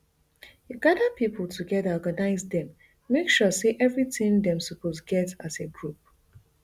you gada pipo togeda organise dem make sure say evritin dem suppose get as a group